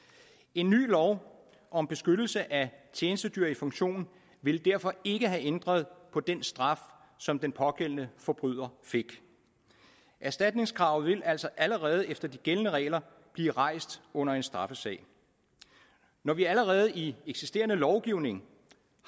en ny lov om beskyttelse af tjenestedyr i funktion ville derfor ikke have ændret på den straf som den pågældende forbryder fik erstatningskravet vil altså allerede efter de gældende regler blive rejst under en straffesag når vi allerede i eksisterende lovgivning